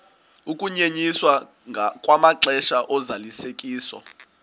ukunyenyiswa kwamaxesha ozalisekiso